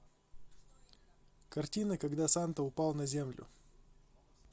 картина когда санта упал на землю